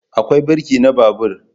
Akwai birki na babur